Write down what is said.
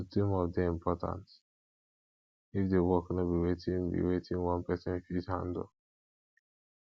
to team up de important if di work no be wetin be wetin one persin fit handle